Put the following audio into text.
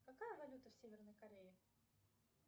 какая валюта в северной корее